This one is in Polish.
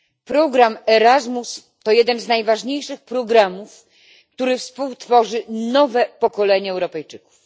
Program Erasmus to jeden z najważniejszych programów, który współtworzy nowe pokolenie Europejczyków.